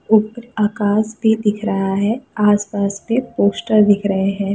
उप आकाश भी दिख रहा है आस-पास मे पोस्टर दिख रहे हैं।